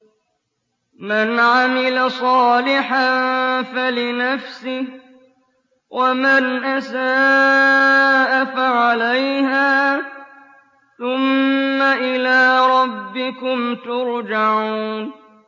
مَنْ عَمِلَ صَالِحًا فَلِنَفْسِهِ ۖ وَمَنْ أَسَاءَ فَعَلَيْهَا ۖ ثُمَّ إِلَىٰ رَبِّكُمْ تُرْجَعُونَ